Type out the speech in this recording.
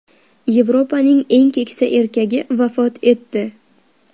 Yevropaning eng keksa erkagi vafot etdi.